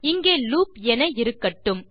இங்கே லூப் என இருக்கட்டும்